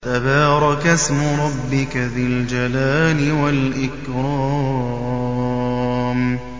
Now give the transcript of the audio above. تَبَارَكَ اسْمُ رَبِّكَ ذِي الْجَلَالِ وَالْإِكْرَامِ